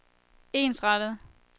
ensrettet